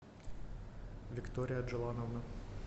виктория джилановна